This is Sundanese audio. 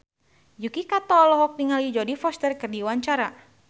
Yuki Kato olohok ningali Jodie Foster keur diwawancara